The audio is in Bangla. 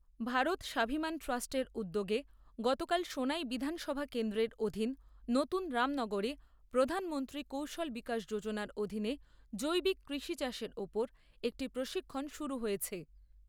ভারত স্বাভিমান ট্রাষ্ট্রের উদ্যোগে গতকাল সোনাই বিধানসভা কেন্দ্রের অধীন নতুন রামনগরে প্রধানমন্ত্রী কৌশল বিকাশ যোজনার অধীনে জৈবিক কৃষি চাষের উপর একটি প্রশিক্ষণ শুরু হয়েছে।